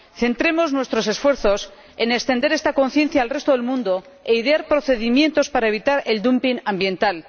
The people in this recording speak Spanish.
Centremos nuestros esfuerzos en extender esta conciencia al resto del mundo e idear procedimientos para evitar el dumping ambiental.